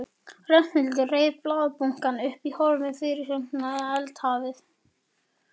Ragnhildur reif blaðabunkann upp, horfði á fyrirsögnina og eldhafið.